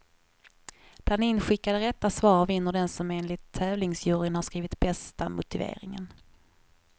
Bland inskickade rätta svar vinner den som enligt tävlingsjuryn har skrivit bästa motiveringen.